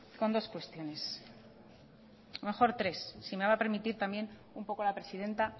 con dos cuestiones mejor tres si me va a permitir también un poco la presidenta